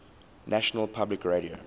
national public radio